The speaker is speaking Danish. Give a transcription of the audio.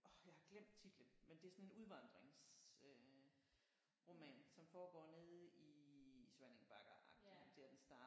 Åh jeg har glemt titlen men det er sådan en udvandrings øh roman som foregår nede i Svanninge Bakker-agtigt der den starter